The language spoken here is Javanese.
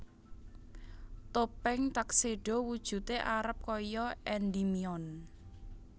Topeng Tuxedo wujude arep kaya Endimion